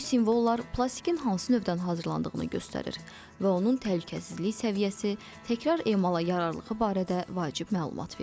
Bu simvollar plastikin hansı növdən hazırlandığını göstərir və onun təhlükəsizlik səviyyəsi, təkrar emala yararlılığı barədə vacib məlumat verir.